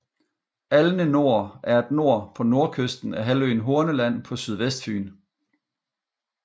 Alne Nor er et nor på nordkysten af halvøen Horneland på sydvestfyn